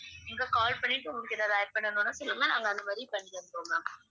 நீங்க call பண்ணிட்டு உங்களுக்கு ஏதாவது add பண்ணனும்னா சொல்லுங்க நாங்க அந்த மாதிரி பண்ணி தந்துடுவோம் ma'am